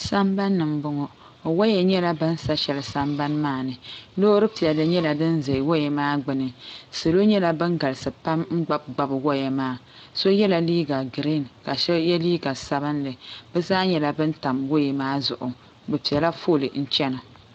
Sambani ni m-bɔŋɔ waya nyɛla ban sa shɛli sambani maa ni loori piɛlli nyɛla din za waya maa gbuni salo nyɛla ban galisi pam n-gbubi gbubi waya maa so yela liiga giriin ka so ye liiga sabinli bɛ zaa nyɛla ban tam waya maa zuɣu bɛ pela foli n-chana.